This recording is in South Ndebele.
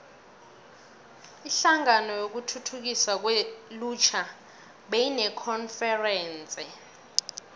inhlangano yokuthuthukiswa kwelutjha beyinekonferense